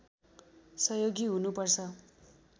सहयोगी हुनुपर्छ